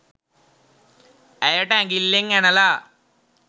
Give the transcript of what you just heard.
ඇයට ඇඟිල්ලෙන් ඇනලා